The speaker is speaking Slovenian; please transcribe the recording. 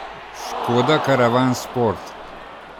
Škoda karavan sport?